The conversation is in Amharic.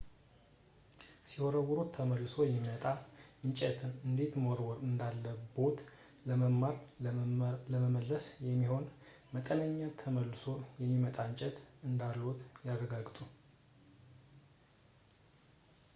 ሲወረውሩት ተመልሶ የሚመጣ እንጨትን እንዴት መወርወር እንዳለቦት ለመማር ለመመለስ የሚሆን መጠነኛ ተመልሶ የሚመጣ እንጨት እንዳሎት ያረጋግጡ